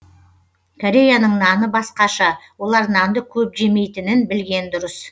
кореяның наны басқаша олар нанды көп жемейтінін білген дұрыс